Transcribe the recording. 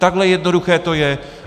Takhle jednoduché to je.